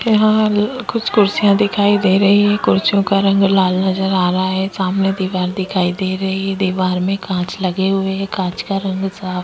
यहाँ हाल कुछ कुर्सियां दिखाई दे रही है कुर्सियों का रंग लाल नजर आ रहा है सामने दीवार दिखाई दे रही है दीवार में कांच लगे हुए हैं कांच का रंग साफ़ --